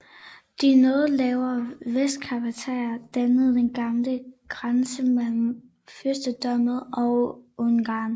De noget lavere Vestkarpater dannede den gamle grænse mellem fyrstedømmet og Ungarn